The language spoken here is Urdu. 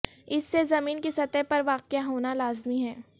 اس سے زمین کی سطح پر واقع ہونا لازمی ہے